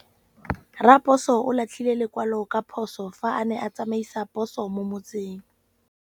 Raposo o latlhie lekwalô ka phosô fa a ne a tsamaisa poso mo motseng.